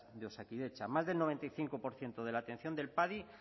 de osakidetza más del noventa y cinco por ciento de la atención del padi